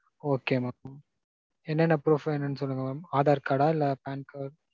Okay mam. என்னென்ன proof வேணும்னு சொல்லுங்க mam. aadhar card டா? இல்ல PANcard?